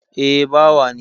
Eh, bawa ne